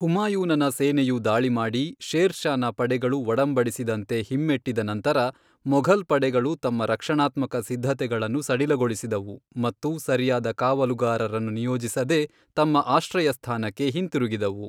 ಹುಮಾಯೂನನ ಸೇನೆಯು ದಾಳಿ ಮಾಡಿ, ಶೇರ್ ಷಾನ ಪಡೆಗಳು ಒಡಂಬಡಿಸಿದಂತೆ ಹಿಮ್ಮೆಟ್ಟಿದ ನಂತರ, ಮೊಘಲ್ ಪಡೆಗಳು ತಮ್ಮ ರಕ್ಷಣಾತ್ಮಕ ಸಿದ್ಧತೆಗಳನ್ನು ಸಡಿಲಗೊಳಿಸಿದವು ಮತ್ತು ಸರಿಯಾದ ಕಾವಲುಗಾರರನ್ನು ನಿಯೋಜಿಸದೆ ತಮ್ಮ ಆಶ್ರಯಸ್ಥಾನಕ್ಕೆ ಹಿಂತಿರುಗಿದವು.